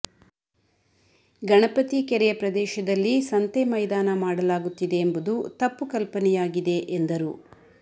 ಗಣಪತಿ ಕೆರೆಯ ಪ್ರದೇಶದಲ್ಲಿ ಸಂತೆ ಮೈದಾನ ಮಾಡಲಾಗುತ್ತಿದೆ ಎಂಬುದು ತಪ್ಪು ಕಲ್ಪನೆಯಾಗಿದೆ ಎಂದರು